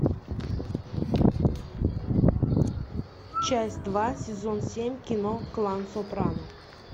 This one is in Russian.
часть два сезон семь кино клан сопрано